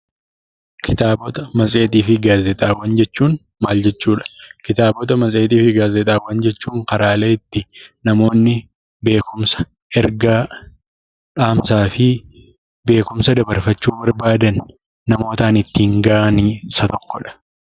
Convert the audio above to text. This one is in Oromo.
Kitaabota, matseetii fi gaazexaawwan jechuun maal jechuudha? Kitaabota, Matseetii fi gaazexaawwan jechuun karaalee itti namoonni beekumsa ,ergaa, beekumsa, dhaamsaa fi beekumsa dabarfachuu barbaadan namootaan ittiin gahanii keessaa tokkodha.